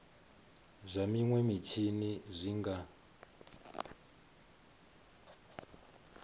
zwa minwe mitshini zwi nga